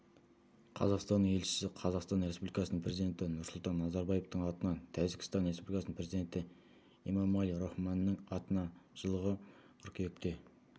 қазақстан елшісі қазақстан республикасының президенті нұрсұлтан назарбаевтың атынан тәжікстан республикасының президенті эмомали рахмонның атына жылғы қыркүйекте